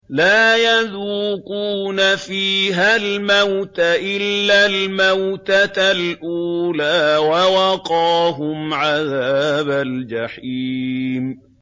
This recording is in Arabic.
لَا يَذُوقُونَ فِيهَا الْمَوْتَ إِلَّا الْمَوْتَةَ الْأُولَىٰ ۖ وَوَقَاهُمْ عَذَابَ الْجَحِيمِ